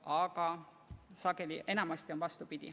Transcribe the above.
Aga jah, enamasti on vastupidi.